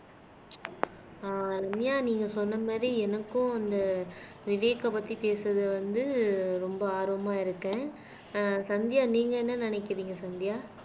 ஆஹ் ரம்யா நீங்க சொன்ன மாதிரி எனக்கும் அந்த விவேக்கை பத்தி பேசுறது வந்து ரொம்ப ஆர்வமா இருக்கேன் ஆஹ் சந்தியா நீங்க என்ன நினைக்கிறீங்க சந்தியா